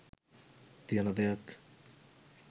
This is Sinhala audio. තියෙන දෙයක්.